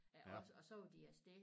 Af os og så var de afsted